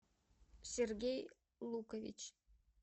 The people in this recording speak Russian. сергей лукович